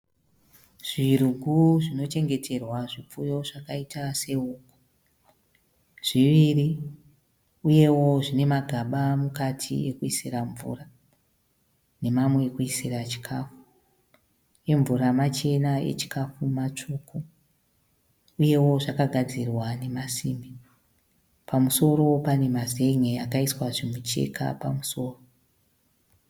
Zvirugu zvinochengeterwa zvipfuyo zvakaita sehuku, zviviri uyewo zvine magaba mukati ekuisira mvura nemamwe ekuisira chikafu. Emvura machena echikafu matsvuku uyewo zvakagadzirwa nemasimbi. Pamusoro pane mazen'e akaiswa zvimucheka pamusoro.